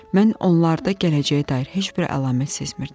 Mən onlarda gələcəyə dair heç bir əlamət sezmirdim.